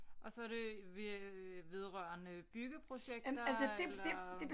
Og så er det ved vedrørende byggeprojekter eller